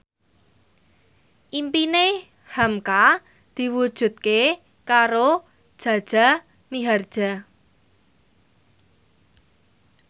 impine hamka diwujudke karo Jaja Mihardja